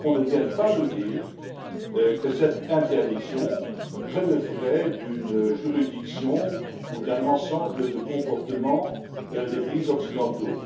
Que l'on ne vienne pas nous dire que cette interdiction relèverait d'une juridiction ou d'un ensemble de comportements des pays occidentaux.